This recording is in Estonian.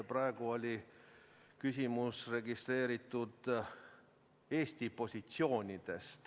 Praegu oli registreeritud teema "Eesti positsioonid".